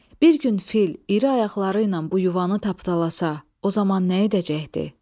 Bir gün fil iri ayaqları ilə bu yuvanı tapdalasa, o zaman nə edəcəkdi?